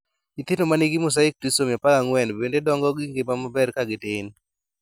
Nyithindo manigi mosaic trisomy 14 bende dongo gi ngima maber ka gitin